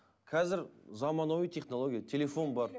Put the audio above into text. қазір замануи технология телефон бар